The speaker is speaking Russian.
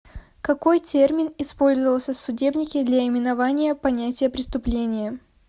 какой термин использовался в судебнике для именования понятия преступление